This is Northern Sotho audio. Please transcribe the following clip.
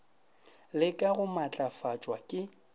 le ka go matlafatšwa ke